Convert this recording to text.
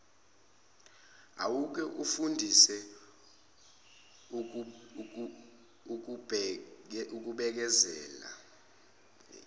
awuke uzifundise ukubekezela